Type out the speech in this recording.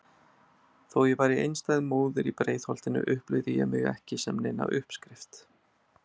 Þó ég væri einstæð móðir í Breiðholtinu upplifði ég mig ekki sem neina uppskrift.